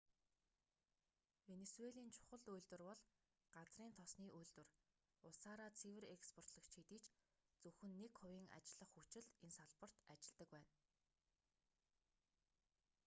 венисуелийн чухал үйлдвэр бол газрын тосны үйлдвэр улсаараа цэвэр експортлогч хэдий ч зөвхөн нэг хувийн ажиллах хүч л энэ салбарт ажилладаг байна